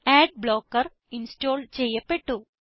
add blocker install ചെയ്യപ്പെട്ടു